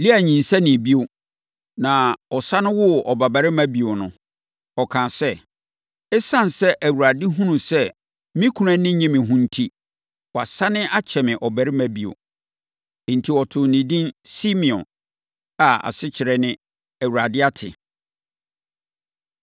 Lea nyinsɛnee bio na ɔsane woo ɔbabarima bio no, ɔkaa sɛ, “Esiane sɛ Awurade hunuu sɛ me kunu ani nnye me ho enti, wasane akyɛ me ɔbabarima bio.” Enti, ɔtoo ne din Simeon a asekyerɛ ne “ Awurade ate!”